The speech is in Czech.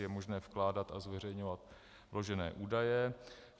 Je možné vkládat a zveřejňovat vložené údaje.